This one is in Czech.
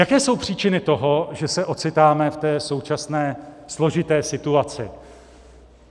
Jaké jsou příčiny toho, že se ocitáme v té současné složité situaci?